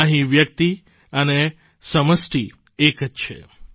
અહીં વ્યક્તિ અને સમષ્ટિ એક જ છે